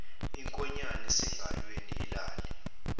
inkoyane esengalweni alale